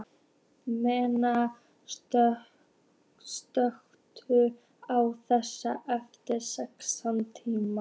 Meda, slökktu á þessu eftir sextán mínútur.